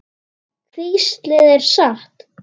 Hvíslið er satt.